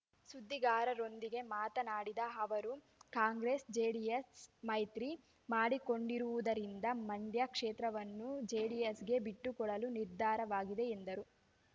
ಸುದ್ದಿಗಾರರೊಂದಿಗೆ ಮಾತನಾಡಿದ ಅವರು ಕಾಂಗ್ರೆಸ್ ಜೆಡಿಎಸ್ ಮೈತ್ರಿ ಮಾಡಿಕೊಂಡಿರುವುದರಿಂದ ಮಂಡ್ಯ ಕ್ಷೇತ್ರವನ್ನು ಜೆಡಿಎಸ್‌ಗೆ ಬಿಟ್ಟುಕೊಡಲು ನಿರ್ಧಾರವಾಗಿದೆ ಎಂದರು